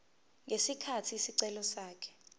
ngesikhathi isicelo sakhe